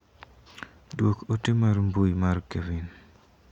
Duok ote mar mbui mar Kevin.